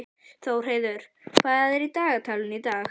Þórheiður, hvað er í dagatalinu í dag?